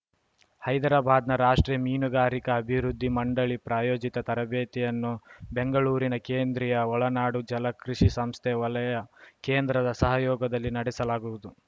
ಹೈದರಾಬಾದ್‌ನ ರಾಷ್ಟ್ರೀಯ ಮೀನಗಾರಿಕಾ ಅಭಿವೃದ್ಧಿ ಮಂಡಳಿ ಪ್ರಾಯೋಜಿತ ತರಬೇತಿಯನ್ನು ಬೆಂಗಳೂರಿನ ಕೇಂದ್ರೀಯ ಒಳನಾಡು ಜಲ ಕೃಷಿ ಸಂಸ್ಥೆ ವಲಯ ಕೇಂದ್ರದ ಸಹಯೋಗದಲ್ಲಿ ನಡೆಸಲಾಗುವುದು